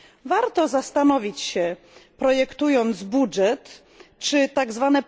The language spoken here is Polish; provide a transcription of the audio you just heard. Warto zastanowić się, projektując budżet, czy tzw.